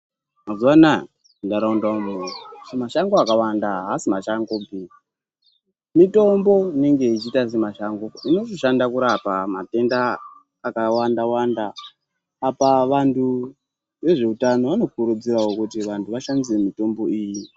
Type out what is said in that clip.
Mazuva anaya mu ndaraunda umu mashango akawanda asi masango mashango pi mutombo inenge ichiita se masango inoshanda kurapa matenda aka wanda wanda apa vantu vezve utano vano kurudzirawo kuti vantu vashandise mitombo iyi.